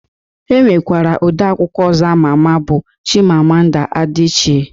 E nwekwara ode akwụkwọ ọzọ ama ama bụ Chimamanda Adichie